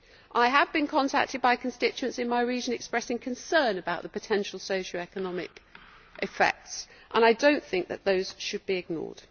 I have been contacted by constituents in my region expressing concern about the potential socio-economic effects, and I do not think that those should be ignored.